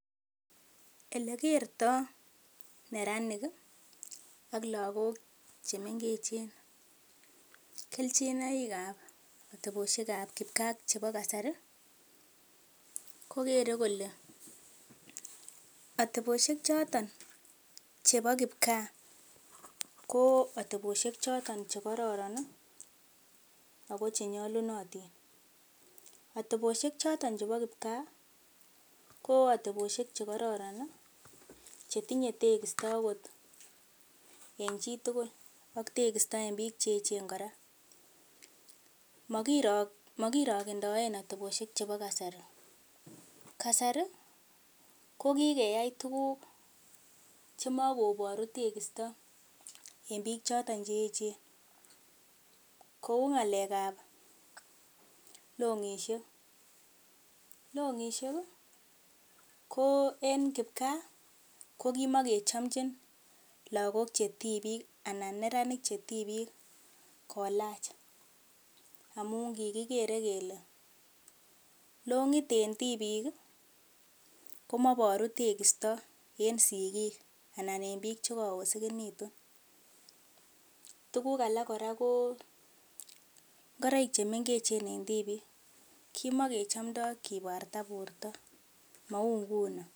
Ele kerto neranik ak lagok che mengechen kelchinoik ab atebosiek chebo kasari ko kere kole atebosiek choton chepo kipkaa ko atebosiek choto che kororon ago che nyalunotin. Atebosiek choto chebo kipkaa ko atebosiek che kororon che tinye tegisto agot en chi tugul ak tegisto en biik che eechen kora. Mokirokendoen atebosiek chebo kasari. Kasari ko kikeyai tuguk chemo koboru tekisto en biik choton che eechen. Kou ngalekab long'ishek, long'ishek ko en kipkaa ko kimakechomchin lagok che tibik anan neranik che tibik kolach amun kigikere kele long'it en tibik komoboru tekisto en sigik anan en biik che kagoosegitun. Tuguk alak ko ngoroik che mengechen en tibik, mou nguni.